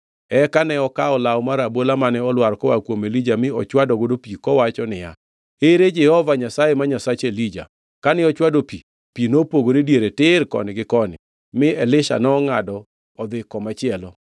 Eka ne okawo law mar abola mane olwar koa kuom Elija mi ochwadogo pi kowacho niya, “Ere Jehova Nyasaye ma Nyasach Elija?” Kane ochwado pi, pi nopogore diere tir koni gi koni, mi Elisha nongʼado odhi komachielo.